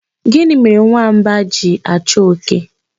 Gịnị mere nwamba ji achọ oke?